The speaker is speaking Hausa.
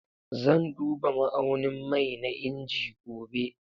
Zan duba ma'aunin mai na inji gobe